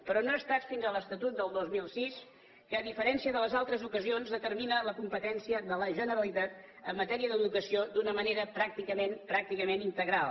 però no ha estat fins a l’estatut del dos mil sis que a diferència de les altres ocasions determina la competència de la generalitat en matèria d’educació d’una manera pràcticament pràcticament integral